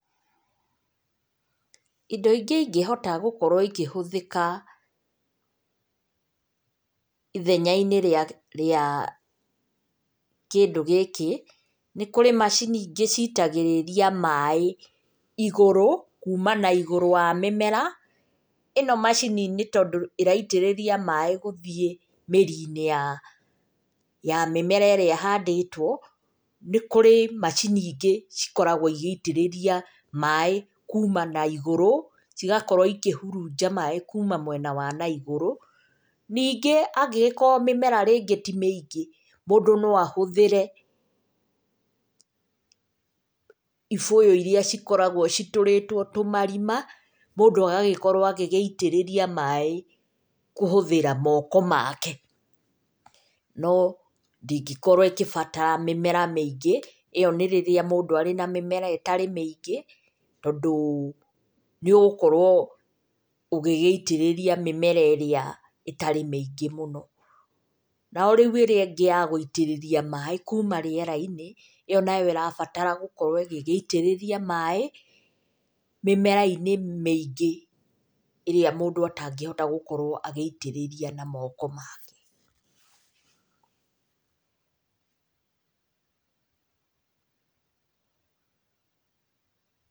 Indo ingĩ ingĩhota gũkorwo ikĩhũthĩka ithenya-inĩ rĩa kĩndũ gĩkĩ nĩ kũrĩ macini ingĩ citagĩrĩria maĩ igũrũ kuma na igũrũ wa mĩmera. Ĩno macini nĩ tondũ ĩraitĩrĩria maĩ gũthiĩ mĩri-inĩ ya mĩmera ĩrĩa ĩhandĩtwo. Nĩ kũrĩ macini ingĩ cikoragwo igĩitĩrĩria maĩ kuma naigũrũ, cigakorwo ikĩhurunja maĩ kuma mwena wa na igũrũ. Ningĩ angĩgĩkorwo mĩmera rĩngĩ ti mĩingĩ, mũndũ no ahũthĩre ibũyũ irĩa cikoragwo citũrĩtwo tũmarima, mũndũ agagĩkorwo agĩitĩrĩria maaĩ kũhũthĩra moko make. No ndĩngĩkorwo ĩgĩbatara mĩmera mĩingĩ, ĩo nĩ rĩrĩa mũndũ arĩ na mĩmera ĩtarĩ mĩingĩ, tondũ nĩ ũgũkorwo ũgĩgĩitĩrĩria mĩmera ĩrĩa ĩtarĩ mĩingĩ mũno. No rĩu ĩrĩa ĩngĩ ya gũitĩrĩrĩa maĩ kuma rĩera-inĩ ĩyo nayo ĩrabatara gũkorwo ĩgĩgĩitĩrĩria maĩ mimera-inĩ mĩingĩ, ĩrĩa mũndũ atangĩhota gũkorwo agĩitĩrĩria na moko make.